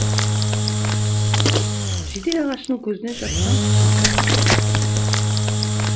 жиде ағашының көзінен шапқан шымқай қызыл ыдыс